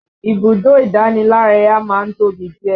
Ibùdó ìdánilárayá má ń tóbi díẹ̀